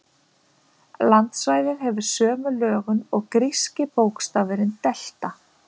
Landsvæðið hefur sömu lögun og gríski bókstafurinn delta.